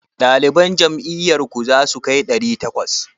Ɗaliban jami'ar ku zasu kai ɗari takwas?